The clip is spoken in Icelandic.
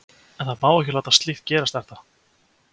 En það má ekki láta slíkt gerast er það?